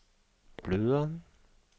blødere